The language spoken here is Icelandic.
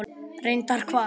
Reyndar hvað?